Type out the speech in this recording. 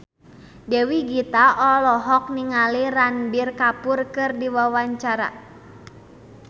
Dewi Gita olohok ningali Ranbir Kapoor keur diwawancara